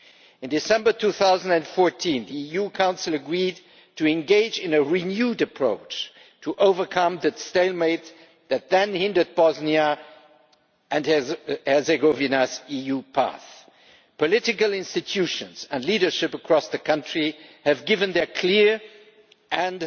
In December 2014 the EU Council agreed to engage in a renewed approach to overcome the stalemate that then hindered Bosnia and Herzegovina's EU path. Political institutions and leadership across the country have given their clear